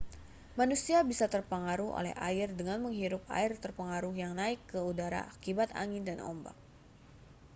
manusia bisa terpengaruh oleh air dengan menghirup air terpengaruh yang naik ke udara akibat angin dan ombak